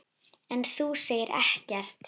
En þú segir ekkert.